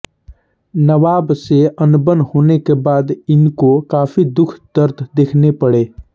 नवाब से अनबन होने के बाद इनको काफ़ी दुःख दर्द देखने पड़े